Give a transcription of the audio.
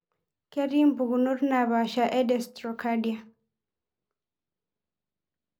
Ketii mpukunot napasha e dextrocardia.